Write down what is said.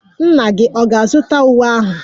Nna gị ọ̀ ga-azụta uwe ahụ?